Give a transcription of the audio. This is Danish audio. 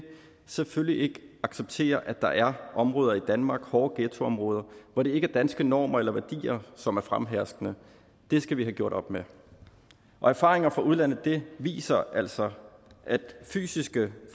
selvfølgelig ikke acceptere at der er områder i danmark hårde ghettoområder hvor det ikke er danske normer eller værdier som er fremherskende det skal vi have gjort op med og erfaringer fra udlandet viser altså at fysiske